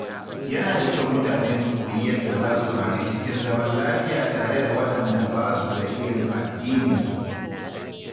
Yana da kyau mutane su koyi yadda za su rayu cikin zaman lafiya tare da waɗanda ba su da irin addininsu.